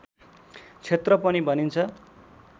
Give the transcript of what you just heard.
क्षेत्र पनि भनिन्छ